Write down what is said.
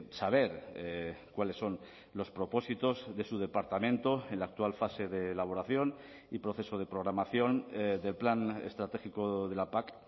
saber cuáles son los propósitos de su departamento en la actual fase de elaboración y proceso de programación del plan estratégico de la pac